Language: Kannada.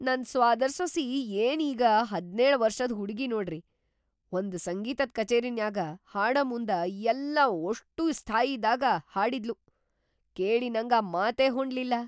ನನ್‌ ಸ್ವಾದರ್‌ ಸೊಸಿ ಏನ್‌ ಈಗ ಹದ್ನೇಳ್‌ ವರ್ಷದ ಹುಡ್ಗಿ ನೋಡ್ರಿ, ಒಂದ್‌ ಸಂಗೀತ್‌ ಕಚೇರಿನ್ಯಾಗ ಹಾಡಮುಂದ ಯಲ್ಲಾ ಓಷ್ಟೂ ಸ್ಥಾಯಿದಾಗ್‌ ಹಾಡಿದ್ಲು, ಕೇಳಿ ನಂಗ ಮಾತೇ ಹೊಂಡ್ಲಿಲ್ಲಾ.